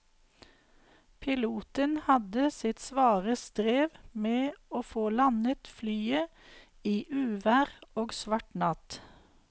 Piloten hadde sitt svare strev med å få landet flyet i uvær og svart natt.